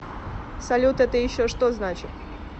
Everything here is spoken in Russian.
салют это еще что значит